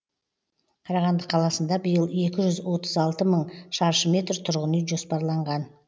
қарағанды қаласында биыл екі жүз отыз алты мың шаршы метр тұрғын үй жоспарланған